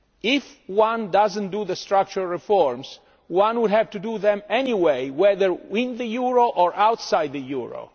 If one does not carry out the structural reforms, one would have to do them anyway whether in the euro or outside the euro.